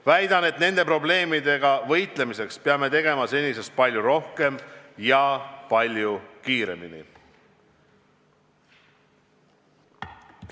Väidan, et nende probleemidega võitlemiseks peame tegema senisest palju rohkem ja palju kiiremini.